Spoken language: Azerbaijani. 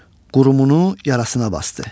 Qurumunu yarasına basdı.